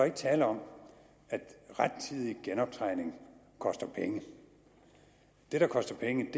ikke tale om at rettidig genoptræning koster penge det der koster penge